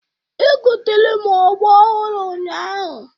Egotere m ogbo ọhụrụ ụnyahụ